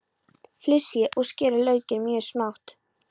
Flysjið og skerið laukinn mjög smátt.